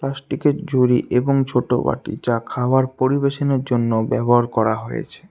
স্টিকের ঝুড়ি এবং ছোট বাটি যা খাবার পরিবেশনের জন্য ব্যবহার করা হয়েছে।